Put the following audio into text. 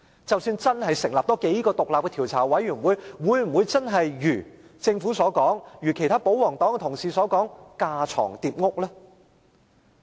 即使真的多成立數個獨立調查委員會，會否真的如政府和保皇黨同事所說是架床疊屋？